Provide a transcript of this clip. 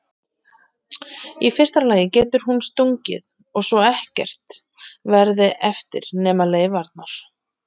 Í fyrsta lagi getur hún sprungið svo ekkert verði eftir nema leifarnar.